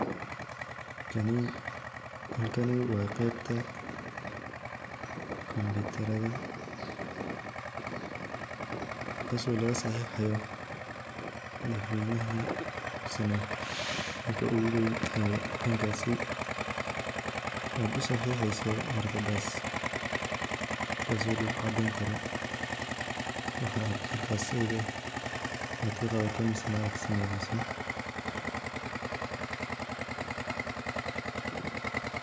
Kani waa qeebta kompitarada taas oo laga saxiixayo ninka oogu weyn aad usaxixeso warqadaas taas oo cadeyneyso waxa aad qabato ama aad sameyneysa.